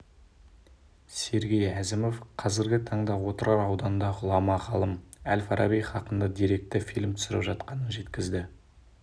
сергей әзімов қазіргі таңда отырар ауданында ғұлама ғалым әл-фараби хақында деректі фильм түсіріп жатқанын жеткізді